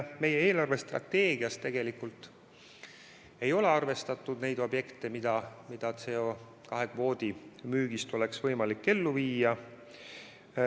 Meie eelarvestrateegias tegelikult ei ole arvestatud neid projekte, mida CO2 kvootide müügist oleks võimalik ellu viia.